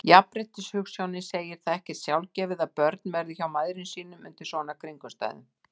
Jafnréttishugsjónin segir það ekkert sjálfgefið að börn verði hjá mæðrum sínum undir svona kringumstæðum.